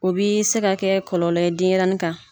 O b'i se kɛ kɔlɔlɔ ye denyɛrɛnin kan